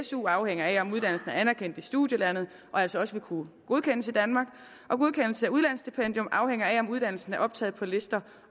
su afhænger af om uddannelsen er anerkendt i studielandet og altså også vil kunne godkendes i danmark og godkendelse af udlandsstipendium afhænger af om uddannelsen er optaget på lister